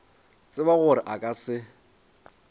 tseba gore a ka se